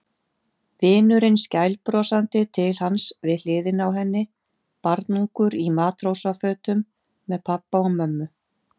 Vinurinn skælbrosandi til hans við hliðina á henni, barnungur í matrósafötum með pabba og mömmu.